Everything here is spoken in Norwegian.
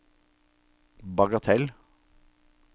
bagatell